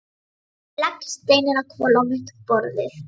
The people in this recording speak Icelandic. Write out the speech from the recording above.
Ég legg steininn á hvolf á mitt borðið.